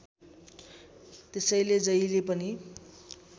त्यसैले जहिले पनि